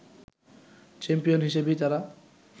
champion হিসেবেই তারা